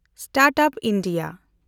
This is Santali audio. stand-up India